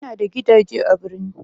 Ina da gidaje a birni